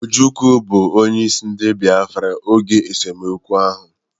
Ojukwu bụ onyeisi ndị biafra oge esemokwu ahụ